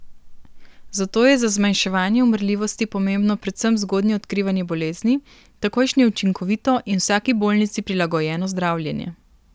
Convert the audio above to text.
Zato je za zmanjševanje umrljivosti pomembno predvsem zgodnje odkrivanje bolezni, takojšnje učinkovito in vsaki bolnici prilagojeno zdravljenje.